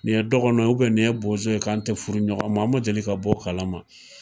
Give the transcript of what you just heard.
Nin ye dɔgɔnɔ nin ye bozo ye ,an tɛ furu ɲɔgɔn ma, n ma deli ka bɔ o kalama.